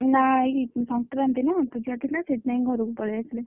ନା ଆଜି ସଂକ୍ରାନ୍ତି ନା ପୂଜା ଥିଲା ସେଥିପାଇ ଘରକୁ ପଳେଇଆସିଲି।